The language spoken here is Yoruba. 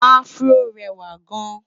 afro réwà gaan